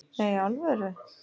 Nei, í alvöru?